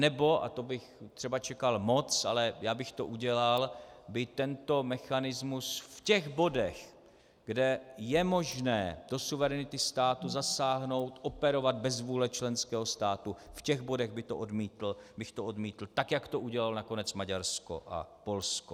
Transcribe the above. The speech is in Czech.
Anebo, a to bych třeba čekal moc, ale já bych to udělal, by tento mechanismus v těch bodech, kde je možné do suverenity státu zasáhnout, operovat bez vůle členského státu, v těch bodech bych to odmítl, tak jak to udělalo nakonec Maďarsko a Polsko.